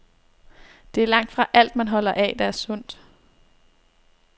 Det er langtfra alt, man holder af, der er sundt.